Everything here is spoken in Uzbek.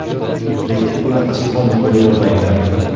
Lekin bunaqa soqolni qo‘yib olmanglar.